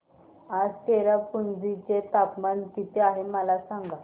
आज चेरापुंजी चे तापमान किती आहे मला सांगा